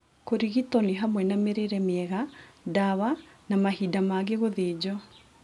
Kũrigito nĩ hamwe na mĩrĩre miega, dawa na mahinda mangĩ gũthinjo.